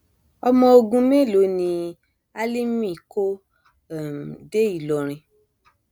ọmọ ogun mélòó ni alifi kò um dé ìlọrin